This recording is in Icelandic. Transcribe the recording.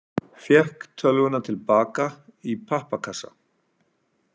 Fékk tölvuna til baka í pappakassa